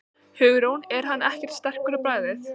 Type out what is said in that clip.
Hugrún: Er hann ekkert sterkur á bragðið?